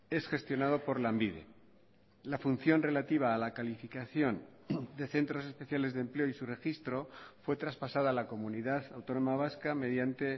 es gestionado por lanbide la función relativa a la calificación de centros especiales de empleo y su registro fue traspasada a la comunidad autónoma vasca mediante